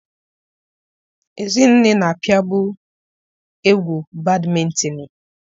Ezinne na-apịabu egwu badmịtinịị.